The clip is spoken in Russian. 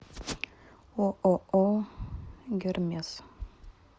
ооо гермес